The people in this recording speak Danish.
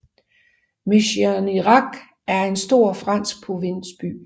Mérignac er en stor fransk provinsby